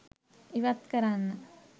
ඉවත් කරන්න.